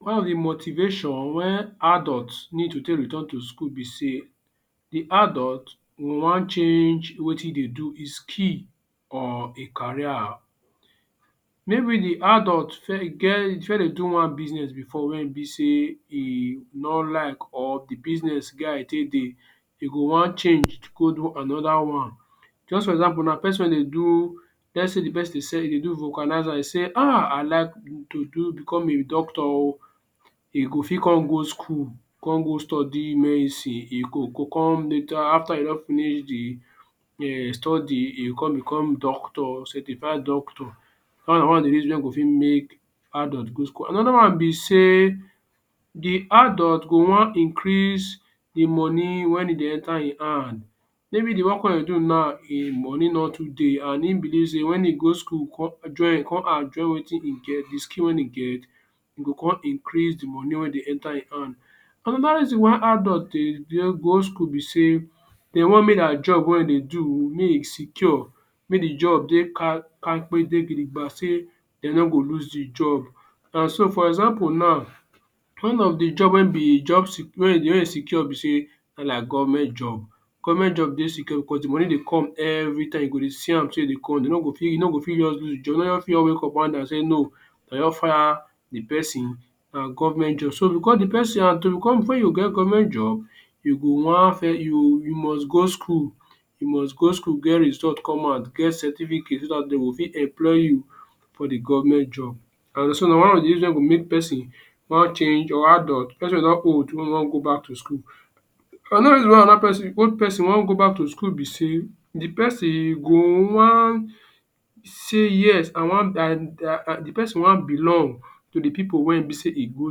One of the motivation wey adult need to take return to school be sey the adult e wan change wetin e do – his skill or e career. Maybe the adult e get e first dey do one business before wey e be sey e no like or the business get how e take dey. E go wan changed go do another one. Juz for example now peson wey dey do let’s sey the peson say e dey do vulcanizer e say um I like to do become a doctor oh. E go fit con go school, con go study medicine. E go go come later after e don finish the um study e go con become doctor – certified doctor. Dat one na one of the reason wey ein go fit make adult go school. Another one be sey the adult go wan increase the money wen e dey enter ein hand. Maybe the work dey do now, ein money no too dey an ein believe sey wen e go school join come an join wetin e get, the skill wen e get, e go con increase the money wey dey enter ein hand. Another reason why adult dey dey go school be sey de wan make dia job wey ein dey do make e secure, make the job dey kampe dey gidigba sey de no go lose the job. An so for example now, one of the job wen be job wey wey e secure be sey like government job. Government job dey secure becos the money dey come every time. You go dey see am sey e dey come, de no go fit e no go fit fit juz wake up one day an say no de don fire the peson, an government job. So, becos the peson an to become before you go get government job, you go wan you you must go school. You must go school get result come out, get certificate so dat de go fit employ you for the government job. An so na one of the reason wey go make peson wan change or adult – peson wey don old – make e wan go back to school. Another reason wey another peson – old peson – wan go back to school be sey the peson go wan say yes I wan um the peson wan belong to the pipu wey ein be sey e go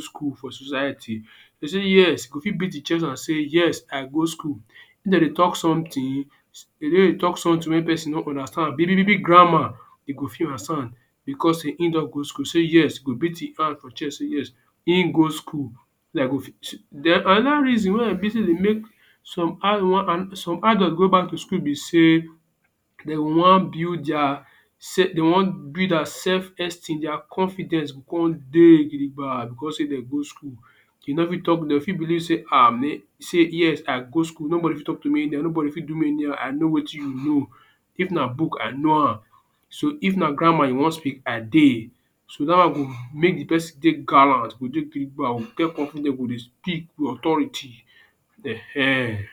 school for society. say “Yes” e go fit beat ein chest and say “Yes, I go school”. If de dey talk something, de no dey talk something wey peson no understand, big big big big grammar, e go fit understand becos sey ein don go school sey “yes” e go beat ein hand for chest sey yes ein go school. Then another reason wey e be sey dey make some adult go back to school be sey de wan build dia de wan build dia self-esteem, dia confidence go con dey gidigba becos sey de go school. You no fit talk de fit believe sey ah sey yes I go school nobody fit talk to me anyhow, nobody fit do me anyhow. I no wetin you know. If na book, I know am. So, if na grammar you wan speak, I dey. So, dat one go make the peson dey gallant, go dey gidigba, go get confidence, go dey speak with authority. um.